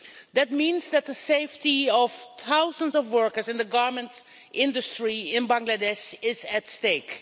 This means that the safety of thousands of workers in the garment industry in Bangladesh is at stake.